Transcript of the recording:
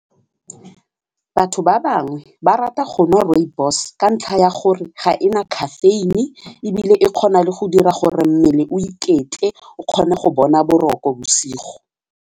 Batho ba bangwe ba rata gonwa rooibos ka ntlha ya gore ga ena caffeine ebile e kgona le go dira gore mmele o iketle o kgone go bona boroko bosigo.